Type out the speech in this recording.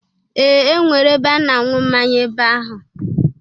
Ee! E nwere ebe a na-anwụ mmanya ebe ahụ.